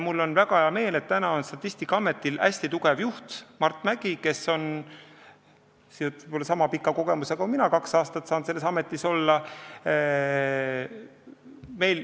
Mul on väga hea meel, et Statistikaametil on hästi tugev juht Mart Mägi, kes on niisama pika kogemusega kui mina, kes ma olen kaks aastat saanud selles ametis olla.